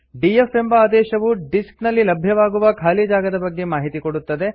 DF ಎಂಬ ಆದೇಶವು disk ನಲ್ಲಿ ಲಭ್ಯವಾಗುವ ಖಾಲಿ ಜಾಗದ ಬಗ್ಗೆ ಮಾಹಿತಿ ಕೊಡುತ್ತದೆ